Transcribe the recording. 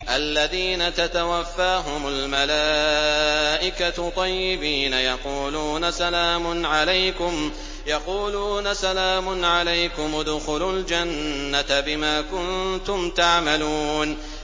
الَّذِينَ تَتَوَفَّاهُمُ الْمَلَائِكَةُ طَيِّبِينَ ۙ يَقُولُونَ سَلَامٌ عَلَيْكُمُ ادْخُلُوا الْجَنَّةَ بِمَا كُنتُمْ تَعْمَلُونَ